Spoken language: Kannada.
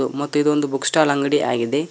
ಮತ್ತು ಇದು ಒಂದು ಬುಕ್ ಸ್ಟಾಲ್ ಅಂಗಡಿ ಆಗಿದೆ.